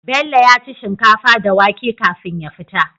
Bello yaci shinkafa da wake kafin ya fita